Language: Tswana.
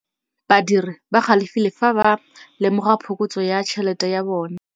Badiri ba galefile fa ba lemoga phokotsô ya tšhelête ya bone.